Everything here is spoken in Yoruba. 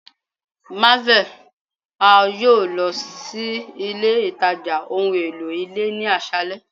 marvel, a yoo lọ si ile itaja ohun elo ile ni aṣalẹ